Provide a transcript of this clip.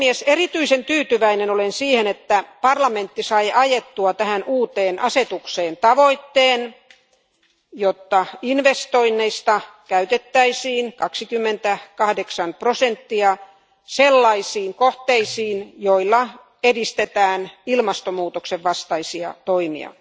Erityisen tyytyväinen olen siihen, että parlamentti sai ajettua tähän uuteen asetukseen tavoitteen, jotta investoinneista käytettäisiin 28 prosenttia sellaisiin kohteisiin, joilla edistetään ilmastonmuutoksen vastaisia toimia.